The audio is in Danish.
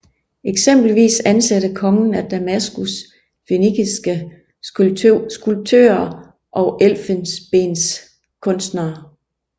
Eksempelvis ansatte kongen af Damaskus fønikiske skulptører og elfenbenskunstnere